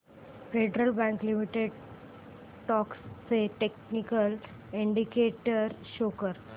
federal Bank Limited stocks चे technical indicators show कर